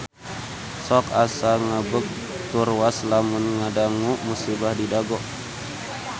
Sok asa ngagebeg tur waas lamun ngadangu musibah di Dago